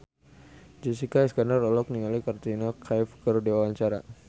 Jessica Iskandar olohok ningali Katrina Kaif keur diwawancara